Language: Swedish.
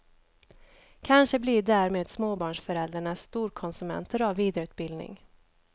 Kanske blir därmed småbarnsföräldrarna storkonsumenter av vidareutbildning.